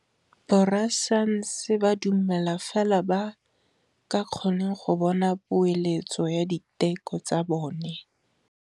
Borra saense ba dumela fela fa ba kgonne go bona poeletsô ya diteko tsa bone.